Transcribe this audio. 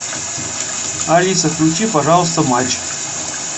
алиса включи пожалуйста матч